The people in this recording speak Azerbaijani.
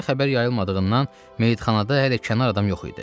Şəhərə xəbər yayılmadığından, meyitxanada hələ kənar adam yox idi.